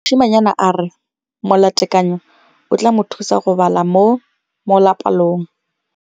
Mosimane a re molatekanyô o tla mo thusa go bala mo molapalong.